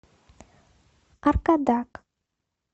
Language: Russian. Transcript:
аркадак